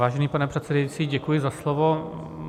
Vážený pane předsedající, děkuji za slovo.